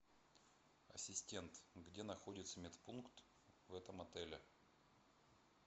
ассистент где находится медпункт в этом отеле